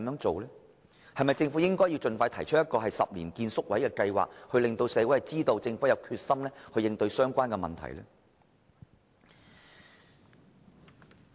政府是否應該盡快提出興建宿位的10年計劃，讓社會知道政府有決心應對有關問題？